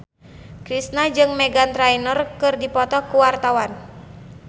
Kristina jeung Meghan Trainor keur dipoto ku wartawan